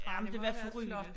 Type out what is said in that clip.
Jamen det var forrygende